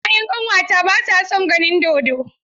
Ya'yan ƙanwata ba sa son ganin dodo.